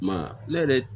I m'a ye ne yɛrɛ